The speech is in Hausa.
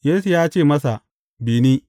Yesu ya ce masa, Bi ni.